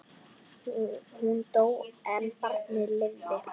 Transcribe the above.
Hún dó en barnið lifði.